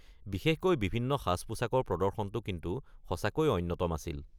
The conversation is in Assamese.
বিশেষকৈ বিভিন্ন সাজ-পোছাকৰ প্ৰদৰ্শনটো কিন্তু সঁচাকৈয়ে অন্যতম আছিল।